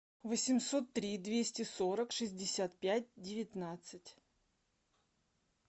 восемьсот три двести сорок шестьдесят пять девятнадцать